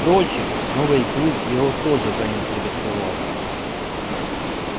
впрочем новый клуб его тоже заинтересовал